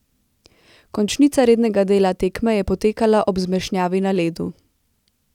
Končnica rednega dela tekme je potekala ob zmešnjavi na ledu.